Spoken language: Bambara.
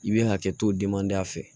I bɛ hakɛ to o denmanda fɛ